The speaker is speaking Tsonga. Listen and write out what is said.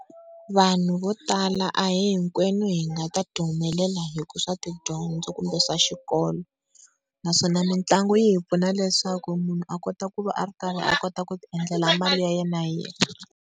Vanhu vo tala a hi hinkwenu hi nga ta humelela swa tidyondzo kumbe swa xikolo, naswona mitlangu yi hi pfuna leswaku munhu a kota ku va a ri karhi a kota ku ti endlela mali ya yena hi yexe.